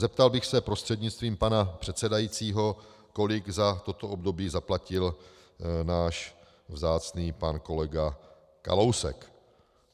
Zeptal bych se prostřednictvím pana předsedajícího, kolik za toto období zaplatil náš vzácný pan kolega Kalousek.